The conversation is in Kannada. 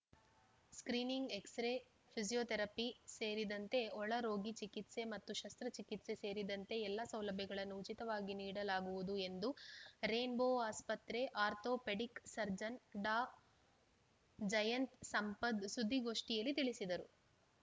ಸ್ಕ್ರೀನಿಂಗ್‌ ಎಕ್ಸ್‌ರೇ ಫಿಜಿಯೋಥೆರಪಿ ಸೇರಿದಂತೆ ಒಳರೋಗಿ ಚಿಕಿತ್ಸೆ ಮತ್ತು ಶಸ್ತ್ರಚಿಕಿತ್ಸೆ ಸೇರಿದಂತೆ ಎಲ್ಲಾ ಸೌಲಭ್ಯಗಳನ್ನು ಉಚಿತವಾಗಿ ನೀಡಲಾಗುವುದು ಎಂದು ರೈನ್‌ ಬೋ ಆಸ್ಪತ್ರೆ ಆರ್ಥೋಪೆಡಿಕ್‌ ಸರ್ಜನ್‌ ಡಾಜಯಂತ್‌ ಸಂಪತ್‌ ಸುದ್ದಿಗೋಷ್ಠಿಯಲ್ಲಿ ತಿಳಿಸಿದರು